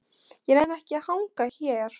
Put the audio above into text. Ég nenni ekki að hanga hér.